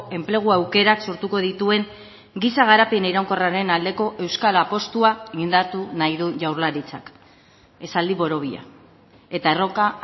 enplegu aukerak sortuko dituen giza garapen iraunkorraren aldeko euskal apustua indartu nahi du jaurlaritzak esaldi borobila eta erronka